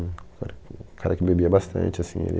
O cara que bebia bastante, assim, ele...